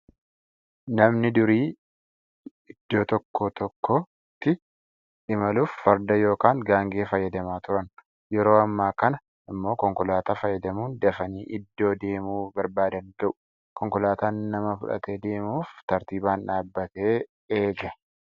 Namni yeroo durii iddoo tokkoo iddoo tokkotti imaluuf farda yookaan gaangee fayadamaa turan. Yeroo ammaa kana immoo konkolaataa fayyadamuun dafanii iddoo deemuu barbaadan ga'u. Konkolaataan nama fudhatee deemuuf tartiibaan dhaabbatee eega.